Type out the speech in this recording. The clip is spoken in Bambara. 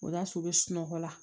O y'a sɔrɔ u bɛ sunɔgɔ la